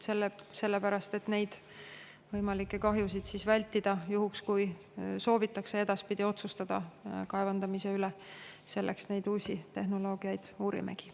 Selleks et võimalikke kahjusid vältida juhul, kui soovitakse edaspidi otsustada kaevandamise üle, uusi tehnoloogiaid uurimegi.